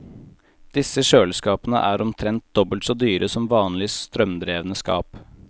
Disse kjøleskapene er omtrent dobbelt så dyre som vanlige, strømdrevne skap.